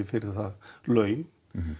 fyrir það laun